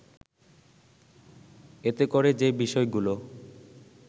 এতে করে যে বিষয়গুলো